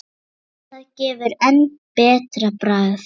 Það gefur enn betra bragð.